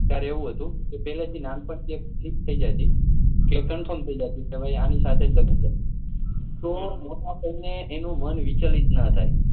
ત્યારે એવું હતું કે નાન પણ થી એક fix થઇ જતું કે conform થઇ જતું કે આની સાથે જ લગ્ન કરી તો મોટા થઇ ને એનું મન વિચલિત ન થાય